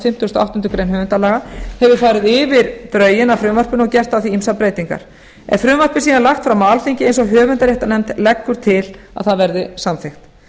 fimmtugustu og áttundu grein höfundalaga hefur farið yfir drögin að frumvarpinu og gert á því ýmsar breytingar er frumvarpið síðan lagt fram á alþingi eins og höfundaréttarnefnd leggur til að það verði samþykkt